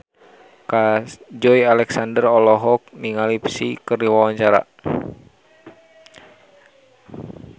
Joey Alexander olohok ningali Psy keur diwawancara